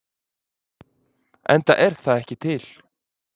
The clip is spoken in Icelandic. Enda er það ekki til.